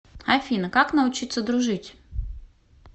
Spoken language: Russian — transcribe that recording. афина как научиться дружить